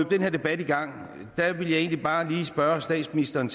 den her debat i gang vil jeg egentlig bare lige spørge statsministeren